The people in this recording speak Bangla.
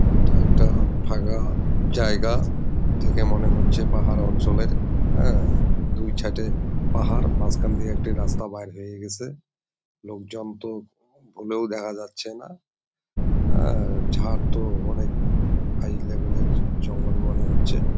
এটা একটা ফাকা জায়গা দেখে মনে হচ্ছে পাহাড় অঞ্চলের হ্যাঁ দুই থাটে পাহাড় মাঝ খান থেকে একটা রাস্তা বার হয়ে গেছে লোকজন তো ভুলেও দেখা যাচ্ছে না অ্যা ঝার তো অনেক হাই লেভেল -এর জঙ্গল মনে হচ্ছে ।